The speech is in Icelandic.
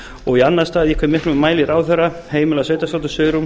og í annan stað í hve miklum mæli ráðherra heimilar sveitarstjórnum svigrúm